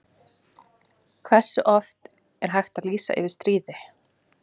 Hversu oft er hægt að lýsa yfir stríði?